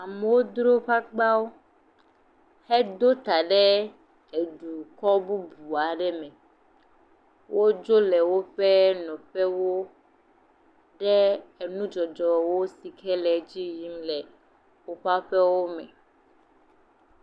Amewo dro woƒe agbawo heɖo ta ɖe edukɔ bubu aɖe me. Wodzo le woƒe nɔƒewo ɖe enudzɔdzɔwo si ke le edzi yim le woƒe aƒewo me.